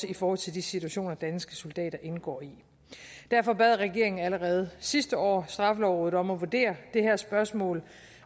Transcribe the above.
i forhold til de situationer danske soldater indgår i derfor bad regeringen allerede sidste år straffelovrådet om at vurdere det her spørgsmål